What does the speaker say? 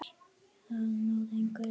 Þar náði ég Ellu.